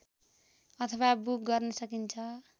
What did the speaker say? अथवा बुक गर्न सकिन्छ